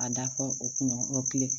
A da fɔ o kun kelen